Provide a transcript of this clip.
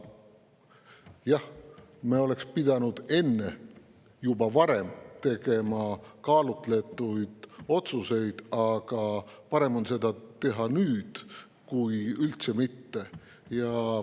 Jah, me oleks pidanud juba varem tegema kaalutletud otsuseid, aga parem on neid teha nüüd kui üldse mitte.